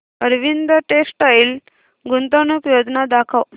Arvind textile गुंतवणूक योजना दाखव